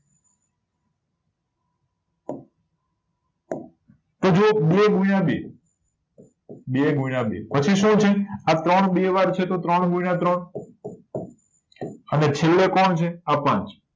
એક બે ગુણ્યા બે બે ગુણ્યા બે પછી શું છે આ ત્રણ બે વાર છે તો ત્રણ ગુણ્યા ત્રણ અને છેલ્લે કોણ છે આ પાંચ